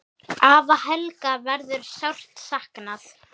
Afa Helga verður sárt saknað.